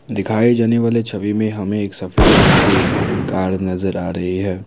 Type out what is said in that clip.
दिखाए जाने वाले छवि में हमें एक सफेद रंग के कार नजर आ रही है।